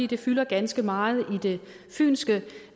det fylder ganske meget i det fynske